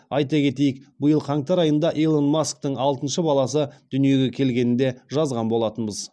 айта кетейік биыл қаңтар айында илон масктың алтыншы баласы дүниеге келгенін де жазған болатынбыз